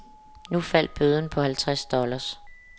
Nu faldt bøden på halvtreds dollar.